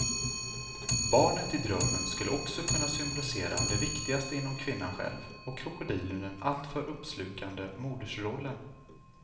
Barnet i drömmen skulle också kunna symbolisera det viktigaste inom kvinnan själv och krokodilen den alltför uppslukande modersrollen.